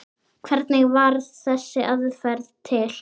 Hvernig varð þessi aðferð til?